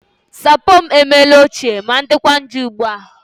Sapo m emela ochie ma dịkwa njọ ugbu a